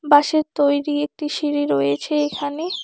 বাঁশের তৈরি একটি সিঁড়ি রয়েছে এখানে।